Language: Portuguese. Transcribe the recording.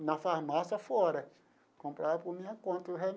Na farmácia fora comprava por minha conta o